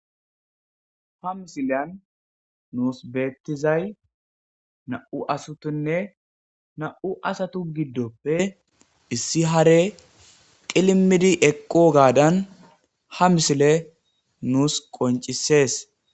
Ha misilyan nuus beettizay na'u asutinne na'u asatu giddoppe issi hare qilimidi eqqo gaadan ha misile nuus qoncisees.